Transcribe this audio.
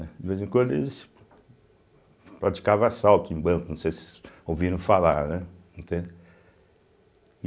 De vez em quando eles praticavam assalto em bancos, não sei se vocês ouviram falar né, entende.